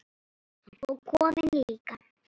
Og kofinn líka!